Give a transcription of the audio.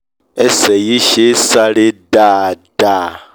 ẹsẹ̀ yìí ṣé é sáré dáadáa